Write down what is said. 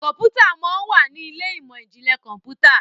Kọ̀ǹpútà món wá ní Ilé ìmọ̀n-jinlẹ Kọ̀ǹpútà